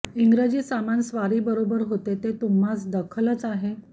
इंग्रेजी सामान स्वारी बरोबर होतें तें तुह्मांस दखलच आहे